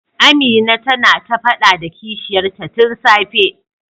Amina tana ta fada da kishiyar ta tun safe.